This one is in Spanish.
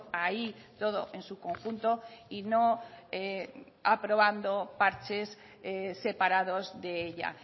ahí todo en su conjunto y no aprobando parches separados de ella